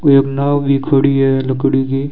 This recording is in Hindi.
कोई अब नाव भी खड़ी है लकड़ी की।